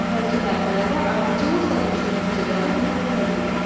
Əvvəlki mərhələdə ardıcıllıqla düzdüyün fikirləri bir-bir təqdim et.